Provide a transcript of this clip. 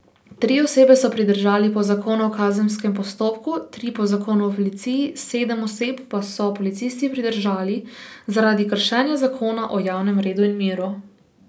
Tri osebe so pridržali po zakonu o kazenskem postopku, tri po zakonu o policiji, sedem oseb pa so policisti pridržali zaradi kršenja zakona o javnem redu in miru.